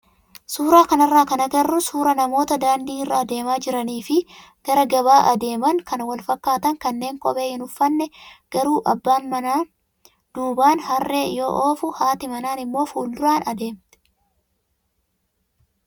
Suuraa kanarraa kan agarru suuraa namoota daandii irra adeemaa jiranii fi gara gabaa adeeman kan fakkaatan kanneen kophee hin uffanne garuu abbaan manaan duubaan harree yoo oofu haati manaan immoo fuulduraa adeemti.